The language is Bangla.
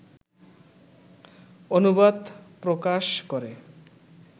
অনুবাদ প্রকাশ করে